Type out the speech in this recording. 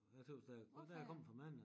Jeg tøs da der er kommet for mange